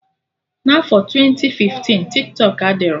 N'afọ twenti fiftin, Tiktọk adịrọ